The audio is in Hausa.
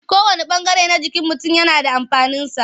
Kowanne ɓangare na jikin mutum yana da amfaninsa.